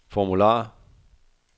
formular